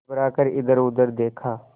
घबरा कर इधरउधर देखा